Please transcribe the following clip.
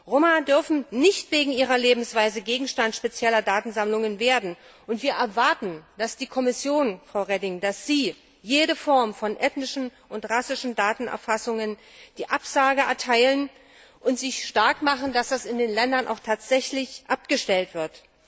Roma dürfen nicht wegen ihrer Lebensweise Gegenstand spezieller Datensammlungen werden, und wir erwarten, dass die Kommission, dass Sie, Frau Reding, jeder Form von ethnischen und rassischen Datenerfassungen eine Absage erteilen und sich stark machen dafür, dass das in den Ländern auch tatsächlich abgestellt wird.